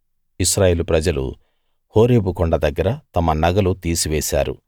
ఇశ్రాయేలు ప్రజలు హోరేబు కొండ దగ్గర తమ నగలు తీసివేశారు